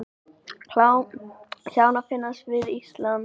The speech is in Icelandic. Kjánar finnast við Ísland